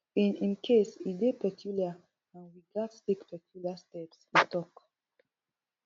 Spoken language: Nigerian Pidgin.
in im case e dey peculiar and we gatz take peculiar steps e tok